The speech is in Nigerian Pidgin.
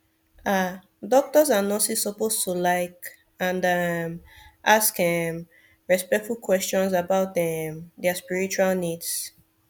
ah doctors and nurses suppose to like and um ask um respectful questions about um dia spiritual needs